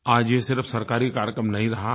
आज ये सिर्फ़ सरकारी कार्यक्रम नहीं रहा है